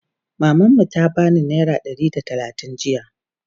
maman mu ta bani naira Ɗari da talatin jiya